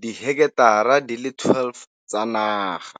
di heketara di le 12 tsa naga.